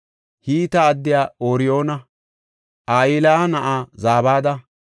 Hite addiya Ooriyoona, Ahilaya na7aa Zabada,